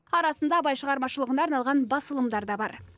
арасында абай шығармашылығына арналған басылымдар да бар